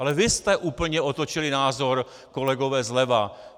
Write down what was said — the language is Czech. Ale vy jste úplně otočili názor, kolegové zleva.